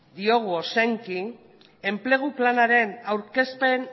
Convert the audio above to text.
ozenki enplegu planaren aurkezpen